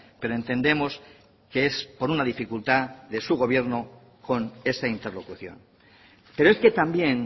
pero entendemos que es por una dificultad de su gobierno con esa interlocución pero es que también